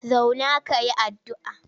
Zauna ka yi addu'a!